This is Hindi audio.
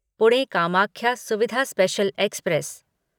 Pune Kamakhya Suvidha special express